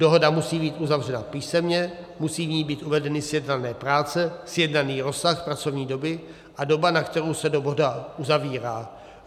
Dohoda musí být uzavřena písemně, musí v ní být uvedeny sjednané práce, sjednaný rozsah pracovní doby a doba, na kterou se dohoda uzavírá.